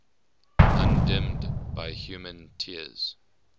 undimmed by human tears